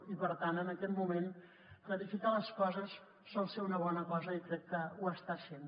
i per tant en aquest moment clarificar les coses sol ser una bona cosa i crec que ho està sent